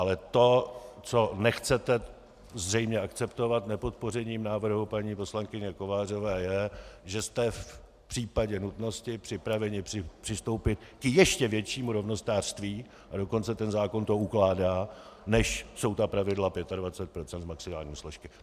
Ale to, co nechcete zřejmě akceptovat nepodpořením návrhu paní poslankyně Kovářové, je, že jste v případě nutnosti připraveni přistoupit k ještě většímu rovnostářství, a dokonce ten zákon to ukládá, než jsou ta pravidla 25 % maximální složky.